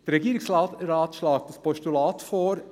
Der Regierungsrat schlägt ein Postulat vor.